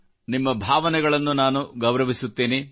ನಿಮ್ಮ ಭಾವನೆಗಳನ್ನು ನಾನು ಗೌರವಿಸುತ್ತೇನೆ